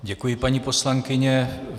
Děkuji, paní poslankyně.